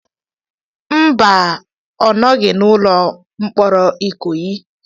Mba, ọ nọghị n'ụlọ mkpọrọ Ikoyi.